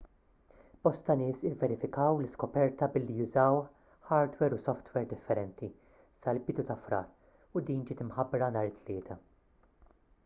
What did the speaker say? bosta nies ivverifikaw l-iskoperta billi użaw ħardwer u softwer differenti sal-bidu ta' frar u din ġiet imħabbra nhar it-tlieta